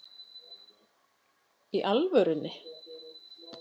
Í alvörunni?